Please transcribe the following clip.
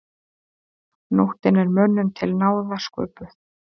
Nóttin er mönnum til náða sköpuð.